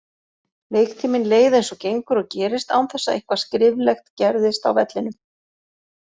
Leiktíminn leið eins og gengur og gerist án þess að eitthvað skriflegt gerðist á vellinum.